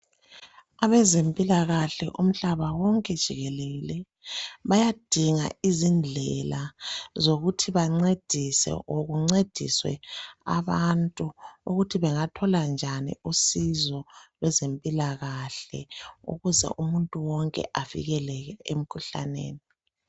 Abezempilakahle umhlaba wonke jikelele bayadinga izindlela zokuthi bamncedise or kuncediswe abantu ukuthi bengathola njani usizolweze mpilakahle ukuze umuntu wonke avikeleke emikhuhlaneni.